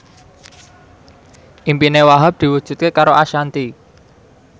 impine Wahhab diwujudke karo Ashanti